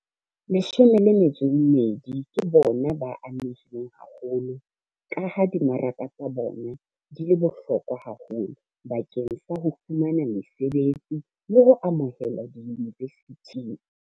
12 ke bona ba amehileng haholo, ka ha dimaraka tsa bona di le bohlokwa haholo bakeng sa ho fumana mesebetsi le ho amohelwa diyunivesithing.